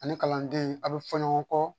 Ani kalanden a bɛ fɔ ɲɔgɔn kɔ